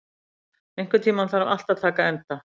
Kæja, einhvern tímann þarf allt að taka enda.